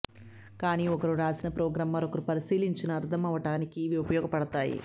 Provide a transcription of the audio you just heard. కానీ ఒకరు రాసిన ప్రోగ్రాం మరొకరు పరిశీలించినా అర్థమవడానికి ఇవి ఉపయోగపడతాయి